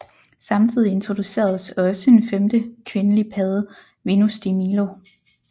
Samtidig introduceredes også en femte kvindelig padde Venus de Milo